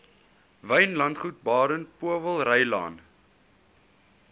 wynlandgoed baden powellrylaan